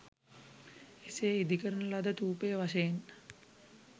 එසේ ඉදිකරන ලද ථූපය වශයෙන්